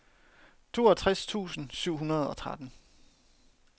toogtres tusind syv hundrede og tretten